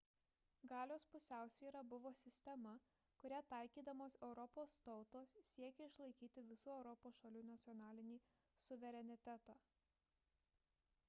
galios pusiausvyra buvo sistema kurią taikydamos europos tautos siekė išlaikyti visų europos šalių nacionalinį suverenitetą